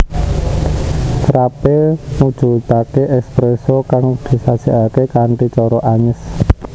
Frappé mujudake espresso kang disajekake kanthi cara anyes